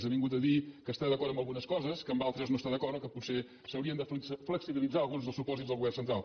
ha vingut a dir que està d’acord en algunes coses que en altres no està d’acord o que potser s’haurien de flexibilitzar alguns dels supòsits del govern central